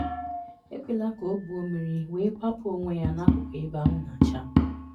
Ekwela ka ọ gwuo mmiri wee kwapụ onwe ya n'akụkụ ebe anwụ na-acha.